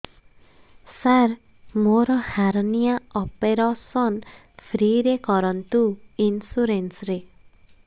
ସାର ମୋର hernia operation free ରେ କରନ୍ତୁ ଇନ୍ସୁରେନ୍ସ ରେ